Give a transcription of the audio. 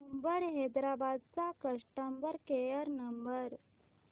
Uber Hyderabad चा customer care number